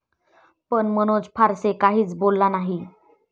पण मनोज फारसे काहीच बोलला नाही.